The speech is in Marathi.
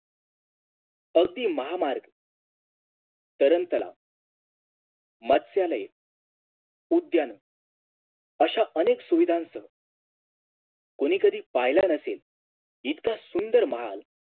अगदी महामार्ग तरणतलाव मत्स्यालय उद्यान अश्या अनेक सुविधांच कुणी कधी पहिला नसेल इतका सुंदर महाल